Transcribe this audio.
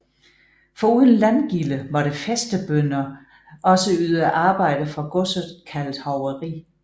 Foruden landgilde måtte fæstebønder også yde arbejde for godset kaldet hoveri